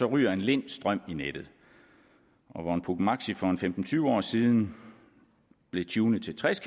ryger en lind strøm i nettet hvor en puch maxi for femten til tyve år siden blev tunet til tres